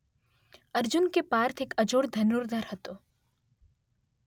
અર્જુન કે પાર્થ એક અજોડ ધનુર્ધર હતો.